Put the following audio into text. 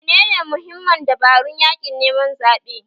Menene mahimman dabarun yaƙin neman zaɓe?